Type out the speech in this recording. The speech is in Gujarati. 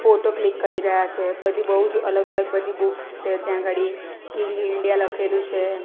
ફોટો ક્લિક કરી રહ્યા છે બધી બઉ જ અલગ અલગ બધી બુક્સ છે ત્યાં અગાળી કિંગ ઈન્ડિયા લખેલુ છે.